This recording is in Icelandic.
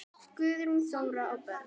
Guðrún Þóra og börn.